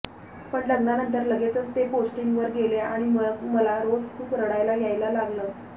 पण लग्नानंतर लगेचच ते पोस्टिंगवर गेले आणि मग मला रोज खूप रडायला यायला लागलं